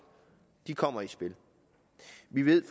kommer i spil vi ved